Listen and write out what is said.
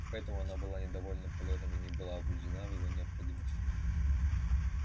поэтому она была недовольна полётом и не убеждена в его необходимости